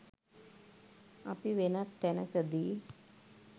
අපි වෙනත් තැනකදී